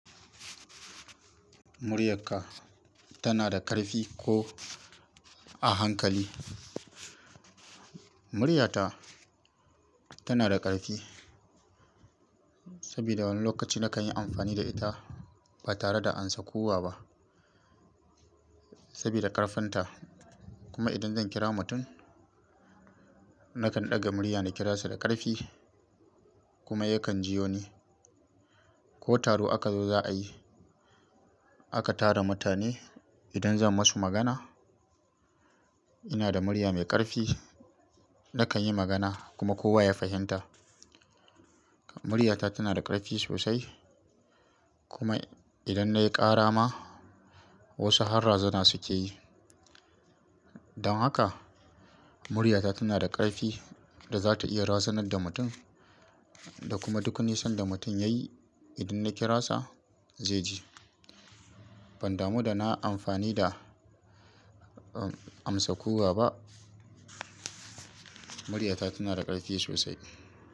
Muryarka tana da ƙarfi ko a hankali? Muryata tana da ƙarfi saboda wani lokaci na kan yi amfani da ita ba tare da ansa kuwwa ba saboda ƙarfinta. Kuma idan zan kira mutum, na kan ɗaga murya na kira sa da ƙarfi kuma yakan jiyo ni. Ko taro aka zo za a yi, aka tara mutane, idan zan masu magana, ina da murya mai ƙarfi. Na kan yi magana kuma kowa ya fahimta. Muryata tana da ƙarfi sosai kuma idan na yi ƙara ma, wasu har razana suke yi. Don haka muryata tana da ƙarfi da za ta iya razanar da mutum da kuma duk nisan da mutum ya yi, idan na kira sa zai ji. Ban damu da na amfani da, uh, amsa kuwwa ba, muryata tana da ƙarfi sosai.